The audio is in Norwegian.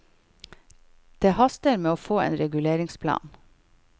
Det haster med å få en reguleringsplan.